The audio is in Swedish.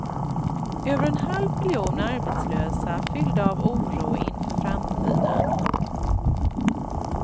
Över en halv miljon arbetslösa fyllda av oro inför framtiden.